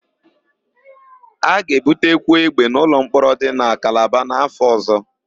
A ga-ebutekwu égbè n'ụlọmkpọrọ dị na Kalaba n̄'áfọ̀ ọ̀zọ́.